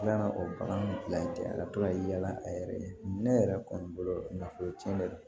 O bagan bila yen ka to ka yaala a yɛrɛ ye ne yɛrɛ kɔni bolo na foro tiɲɛ dɛ